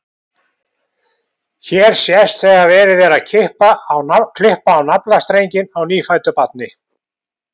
Hér sést þegar verið er að klippa á naflastrenginn á nýfæddu barni.